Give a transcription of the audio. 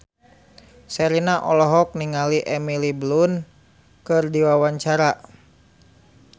Sherina olohok ningali Emily Blunt keur diwawancara